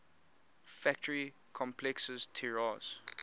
factory complexes tiraz